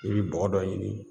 I bi bɔgɔ dɔ ɲini